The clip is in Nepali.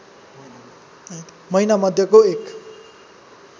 महिनामध्यको एक